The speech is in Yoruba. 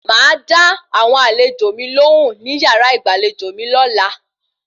Màá dá àwọn àlejò mi lohùn ní yàrá ìgbàlejò mi lọ́la